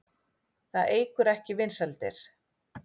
Það eykur ekki vinsældir.